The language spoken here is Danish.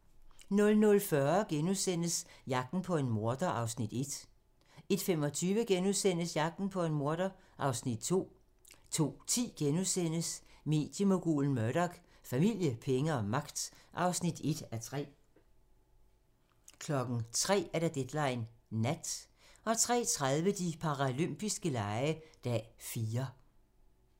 00:40: Jagten på en morder (Afs. 1)* 01:25: Jagten på en morder (Afs. 2)* 02:10: Mediemogulen Murdoch: Familie, penge og magt (1:3)* 03:00: Deadline nat 03:30: De paralympiske lege - dag 4